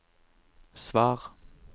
svar